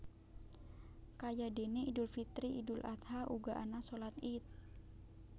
Kayadene Idul Fitri Idul Adha uga ana shalat Ied